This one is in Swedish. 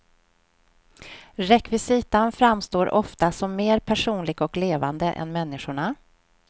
Rekvisitan framstår ofta som mer personlig och levande än människorna.